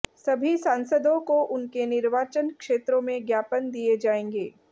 सभी सांसदों को उनके निर्वाचन क्षेत्रों में ज्ञापन दिए जाएंगे